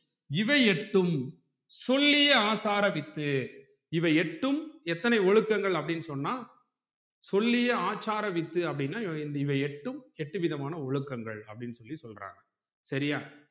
இவை எட்டும் சொல்லிய ஆசாரவித்து இவை எட்டும் எத்தனை ஒழுக்கங்கள் அப்புடின்னு சொன்னா சொல்லிய ஆசார வித்து அப்புடினா இவை எட்டும் எட்டு விதமான ஒழுக்கங்கள் அப்புடின்னு சொல்லி சொல்றாங்க சரியா